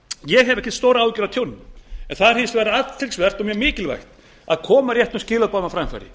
ég hef ekki stórar áhyggjur af tjóninu en það er hins vegar athyglisvert og mjög mikilvægt að koma réttum skilaboðum á framfæri